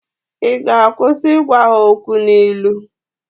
ị ga-akwụsị ịgwa ha okwu n'ilu?